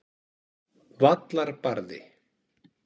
Vallarbarði